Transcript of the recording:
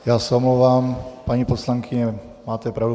Já se omlouvám, paní poslankyně, máte pravdu.